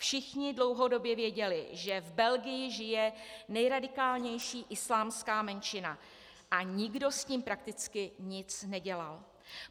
Všichni dlouhodobě věděli, že v Belgii žije nejradikálnější islámská menšina, a nikdo s tím prakticky nic nedělal.